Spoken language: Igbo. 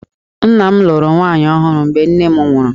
Nna m lụrụ nwaanyị ọhụrụ mgbe nne m nwụrụ